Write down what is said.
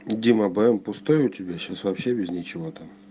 дима бм пустой у тебя сейчас вообще без ничего там